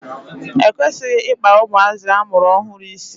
E kwesịghị Ị kpa ụmụazị amụrụ ọhụrụ isi.